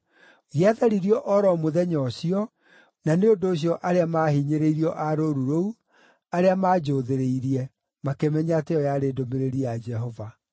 Gĩatharirio o ro mũthenya ũcio, na nĩ ũndũ ũcio arĩa maahinyĩrĩirio a rũũru rũu, arĩa maanjũũthĩrĩirie, makĩmenya atĩ ĩyo yarĩ ndũmĩrĩri ya Jehova.